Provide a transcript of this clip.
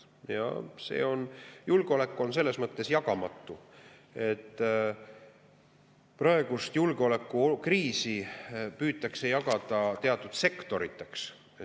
Julgeolek on jagamatu, aga praegust julgeolekukriisi püütakse jagada teatud sektoriteks.